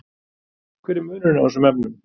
Hver er munurinn á þessum efnum?